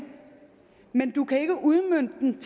men du kan ikke udmønte den